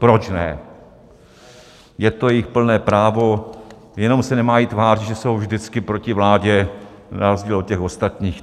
Proč ne, je to jejich plné právo, jenom se nemají tvářit, že jsou vždycky proti vládě na rozdíl od těch ostatních.